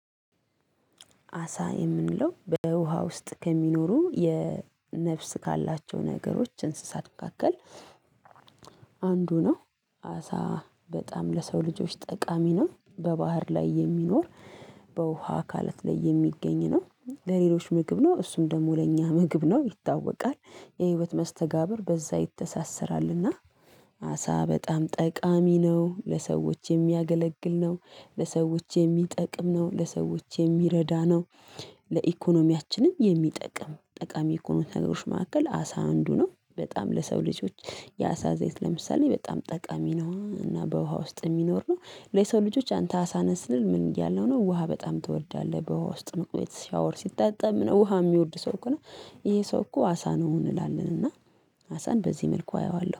አሳ የምንለው በውሃ ውስጥ ከሚኖሩ የነፍስ ካላቸው ነገሮች እንስሳት መካከል አንዱ ነው። አሳ በጣም ለሰው ልጆች ጠቃሚ ነው። በባህር ላይ የሚኖር በውሃ አካለት ላይ የሚገኝ ነው። ለሌሎች ምግብ ነው እሱም ደግሞ ለእኛ ምግብ ነው ይታወቃል። የህይወት መስተጋብር በዛ ይተሳሰራልና። አሳ በጣም ጠቃሚ ነው ለሰዎች የሚያገለግል ነው። ለሰዎች የሚጠቅም ነው ለሰዎች የሚረዳ ነው። ለኢኮኖሚያችንም የሚጠቅም ጠቃሚ ከሆኑ ነገሮችን መካከል አሳ አንዱ ነው በጣም ለሰው ልጆች። የአሳ ዘይት ለምሳሌ በጣም ጠቃሚ ነው። እና በውሃ ውስጥ የሚኖር ነው። ለሰው ልጆች አንተ አሳ ነህ ስል ምን እያለሁ ነው? ውሃ በጣም ትወዳለህ በውሃ ውስጥ መቆየት ሸወር ሲታጣብ ምናምን ውሃ የሚወድ ሰው ከሆነ ነህ። ይሄ ሰው እኮ አሳ ነው እንላለን እና። አሳን በዚህ መልኩ አየዋለሁ